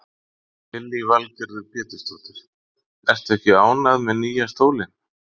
Lillý Valgerður Pétursdóttir: Ertu ekki ánægð með nýja stólinn?